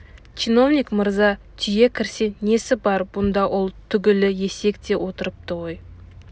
чиновник мырза түйе кірсе несі бар бұнда ол түгілі есек те отырыпты ғой